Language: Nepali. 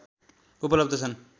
उपलब्ध छन्।